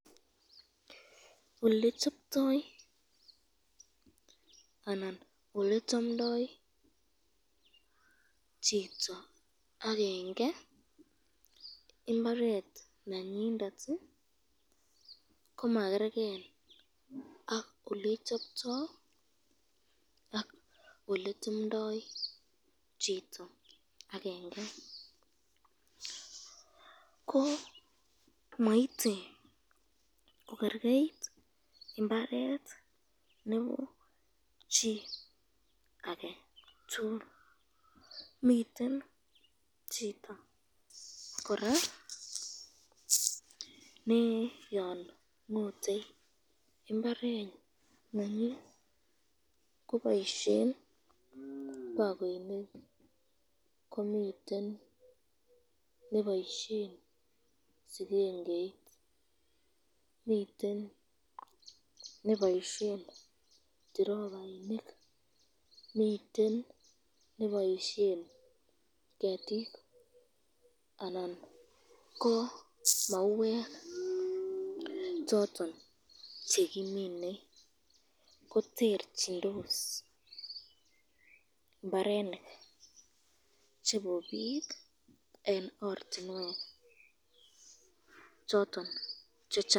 Olechoptoi anan ole anan olechamdoi chito akenge imbaret nenyinde ak olechoptoi ak oletemdoi chito akenge ko maite kokerkeit nebo chi ake chuton chito koraa ko yon ngote imbaret nenyin koboisyen